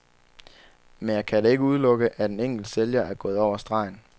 Men jeg kan da ikke udelukke, at en enkelt sælger er gået over stregen.